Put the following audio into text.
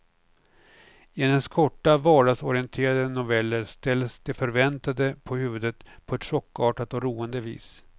I hennes korta, vardagsorienterade noveller ställs det förväntade på huvudet på ett chockartat och roande vis.